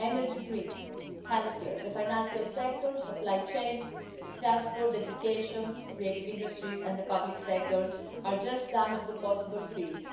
Energy grids, health care, the financial sector, supply chains, transport, education, the creative industries and the public sector are just some of the possible fields.